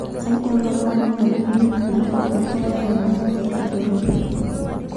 Saidi o lomon 100,000 egirae ainguraa tina jurore.